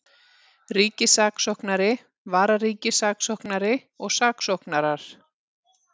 Ríkissaksóknari, vararíkissaksóknari og saksóknarar.